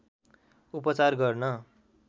उपचार गर्न